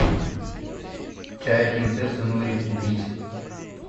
чай принцесса нури купить